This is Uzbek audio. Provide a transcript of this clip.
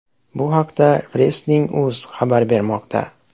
Bu haqda Wrestling.uz xabar bermoqda .